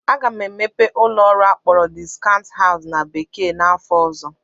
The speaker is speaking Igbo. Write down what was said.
Aga m emepe ụlọ ọrụ akpọrọ "discount house" na bekee n'afọ ọzọ